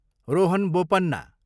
Rohan Bopanna